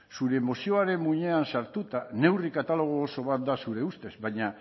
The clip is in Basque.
zure moziaren muinean sartuta neurri katalogo oso bat da zure ustez baina